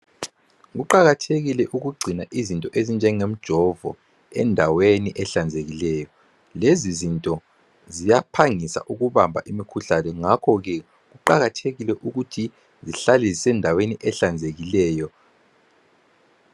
Kuqakathekile ukugcina izinto ezinjenge mjovo endaweni ehlanzekileyo lezi zinto ziyaphangisa ukubamba imikhuhlane ngakhoke kuqakathekile ukuthi zihlale zisendaweni ehlanzekileyo.